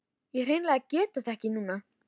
Ég hreinlega get þetta ekki núna.